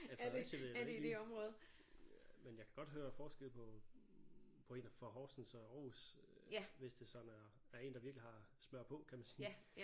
Ja Fredericia ved jeg da ikke lige men jeg kan godt høre forskel på på en der fra Horsens og Aarhus øh hvis det sådan er er en der virkelig har smører på kan man sige